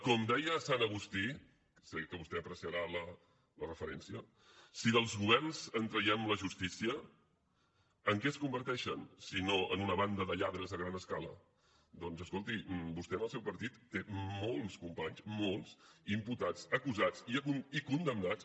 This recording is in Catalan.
com deia sant agustí sé que vostè apreciarà la referència si dels governs en traiem la justícia en què es converteixen si no en una banda de lladres a gran escala doncs escolti vostè en el seu partit té molts companys molts imputats acusats i condemnats